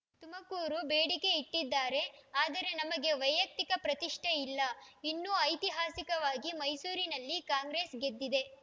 ತುಮಕೂರು ಬೇಡಿಕೆ ಇಟ್ಡಿದ್ದಾರೆ ಆದರೆ ನಮಗೆ ವೈಯಕ್ತಿಕ ಪ್ರತಿಷ್ಠೆ ಇಲ್ಲಇನ್ನೂ ಐತಿಹಾಸಿಕವಾಗಿ ಮೈಸೂರಿನಲ್ಲಿ ಕಾಂಗ್ರೆಸ್ ಗೆದ್ದಿದೆ